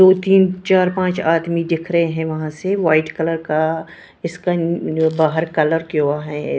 दो तीन चार पाँच आदमी दिख रहे है वहाँ से व्हाइट कलर का इसका बाहर कलर किया हुआ है।